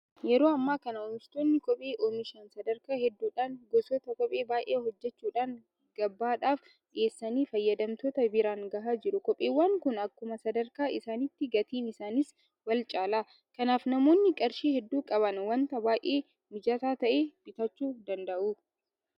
Yeroo ammaa kana oomishtoonni kophee oomishan sadarkaa hedduudhaan gosoota kophee baay'ee hojjechuudhaan gabaadhaaf dhiyeessanii fayyadamtoota biraan gahaa jiru. Kopheewwan kun akkuma sadarkaa isaaniitti gatiin isaaniis walcaala. Kanaaf namoonni qarshii hedduu qaban waanta baay'ee mijataa ta'e bitachuu danda'u.